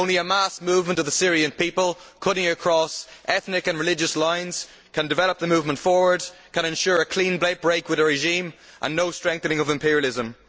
Only a mass movement of the Syrian people cutting across ethnic and religious lines can develop the movement forward and can ensure a clean break with the regime and no strengthening of imperialism.